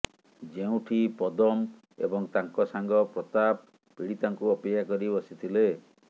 ଯେଉଁଠି ପଦମ୍ ଏବଂ ତାଙ୍କ ସାଙ୍ଗ ପ୍ରତାପ ପୀଡ଼ିତାଙ୍କୁ ଅପେକ୍ଷା କରି ବସିଥିଲେ